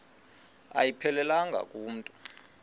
ayiphelelanga ku mntu